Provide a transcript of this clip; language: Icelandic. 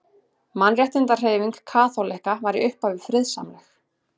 Mannréttindahreyfing kaþólikka var í upphafi friðsamleg.